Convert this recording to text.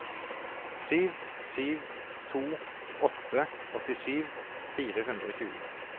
sju sju to åtte åttisju fire hundre og tjue